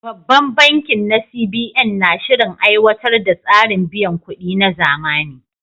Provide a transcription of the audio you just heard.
Babban bankin na CBN na shirin aiwatar da tsarin biyan kuɗi na zamani.